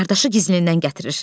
Qardaşı gizlindən gətirir.